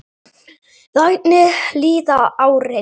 Þannig líða árin.